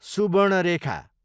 Subarnarekha